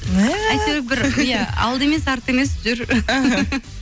мә әйтеуір бір иә алды емес арты емес жүр